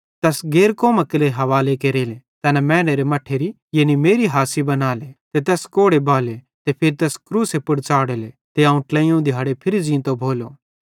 तैस गैर कौमां केरे हवाले केरेले तैना मैनेरे मट्ठेरी यानी मेरी हासी बनाले ते तैस कोड़े बाहेले ते फिरी तैस क्रूसे पुड़ च़ाढ़ेले ते अवं ट्लेइयोवं दिहाड़े फिरी ज़ींतो भोलो